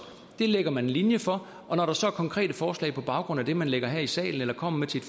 det lægger man en linje for og når der så er konkrete forslag på baggrund af det man lægger frem her i salen eller kommer med til